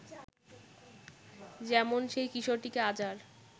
যেমন সেই কিশোরটিকে আজ আর